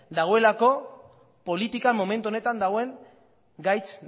dagoelako politikan momentu honetan dagoen gaitz